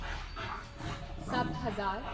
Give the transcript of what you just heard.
ਸੱਤ ਹਜ਼ਾਰ